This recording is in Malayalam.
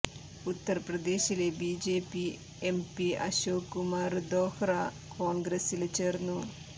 ഉത്തര്പ്രദേശിലെ BJP M P Ashok Kumar Dohra കോണ്ഗ്രസില് ചേര്ന്നു